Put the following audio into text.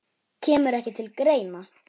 Kemur ekki til greina